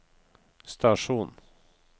stasjon